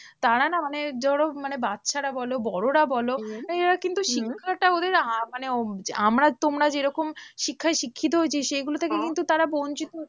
তারা না মানে যারা বাচ্চারা বলো বড়োরা বলো হম তাই এরা কিন্তু শিক্ষাটা ওদের মানে আমরা তোমরা যেরকম শিক্ষায় শিক্ষিত হয়েছি, সেইগুলো থেকে কিন্তু তারা বঞ্চিত।